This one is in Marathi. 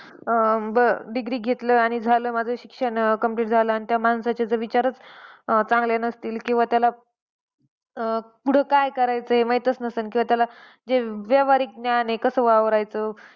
अं degree घेतलं आणि झालं माझं शिक्षण complete झालं. आणि त्या माणसाचे विचारच चांगले नसतील किंवा, त्याला अं पुढे काय करायचं माहीतच नसलं. किंवा त्याला जे व्यावहारिक ज्ञान आहे कसं वावरायचं?